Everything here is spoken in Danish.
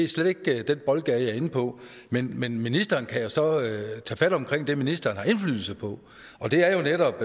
slet ikke den boldgade jeg er inde på men men ministeren kan jo så tage fat om det ministeren har indflydelse på og det er jo netop